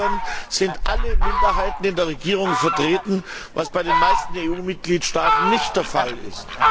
In beiden Ländern sind alle Minderheiten in der Regierung vertreten, was bei den meisten EU Mitgliedstaaten nicht der Fall ist.